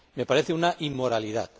Me parece una inmoralidad.